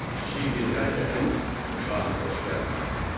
Kiçik bir hərəkətim şaha xoş gəlmədi.